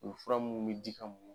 U fura minnu bɛ di an ma.